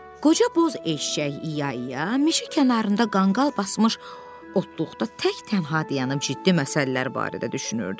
Qoca boz eşşək İa-ia meşə kənarında qanqal basmış otluqda tək-tənha dayanıb ciddi məsələlər barədə düşünürdü.